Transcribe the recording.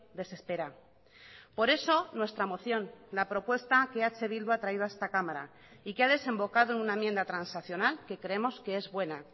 desespera por eso nuestra moción la propuesta que eh bildu ha traído a esta cámara y que ha desembocado en una enmienda transaccional que creemos que es buena